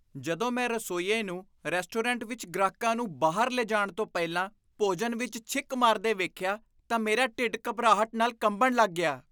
ਜਦੋਂ ਮੈਂ ਰਸੋਈਏ ਨੂੰ ਰੈਸਟੋਰੈਂਟ ਵਿੱਚ ਗ੍ਰਾਹਕਾਂ ਨੂੰ ਬਾਹਰ ਲਿਜਾਣ ਤੋਂ ਪਹਿਲਾਂ ਭੋਜਨ ਵਿੱਚ ਛਿੱਕ ਮਾਰਦੇ ਵੇਖਿਆ ਤਾਂ ਮੇਰਾ ਢਿੱਡ ਘਬਰਾਹਟ ਨਾਲ ਕੰਬਣ ਲੱਗ ਗਿਆ।